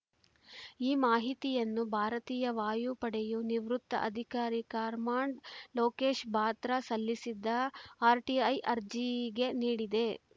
ಈ ಮಾಹಿತಿಯನ್ನು ಭಾರತೀಯ ವಾಯುಪಡೆಯು ನಿವೃತ್ತ ಅಧಿಕಾರಿ ಕರ್ಮಾಂಡ್ ಲೋಕೇಶ್‌ ಬಾತ್ರ ಸಲ್ಲಿಸಿದ್ದ ಆರ್‌ಟಿಐ ಅರ್ಜಿಗೆ ನೀಡಿದೆ